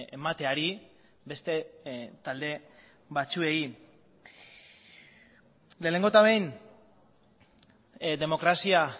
emateari beste talde batzuei lehenengo eta behin demokrazia